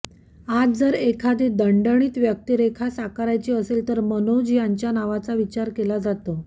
आज जर एखादी दणदणीत व्यक्तिरेखा साकारायची असेल तर मनोज यांच्या नावाचा विचार केला जातो